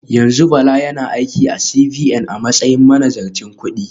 Yanzu Bala yana aiki a CBN a matsayin manazarcin kudi